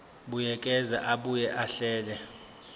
buyekeza abuye ahlele